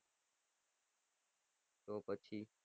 તો પછી